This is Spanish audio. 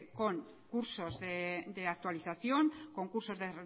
con cursos de actualización con cursos de